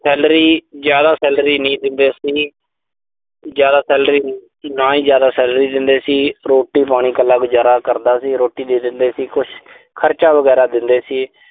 salary ਜ਼ਿਆਦਾ salary ਨਹੀਂ ਦਿੰਦੇ ਸੀ। ਜ਼ਿਆਦਾ salary ਨਾ ਹੀ ਜ਼ਿਆਦਾ salary ਦਿੰਦੇ ਸੀ। ਰੋਟੀ ਪਾਣੀ ਕੱਲਾ ਗੁਜ਼ਾਰਾ ਕਰਦਾ ਸੀ। ਰੋਟੀ ਦੇ ਦਿੰਦੇ ਸੀ, ਕੁਸ਼ ਖਰਚਾ ਵਗੈਰਾ ਦਿੰਦੇ ਸੀ।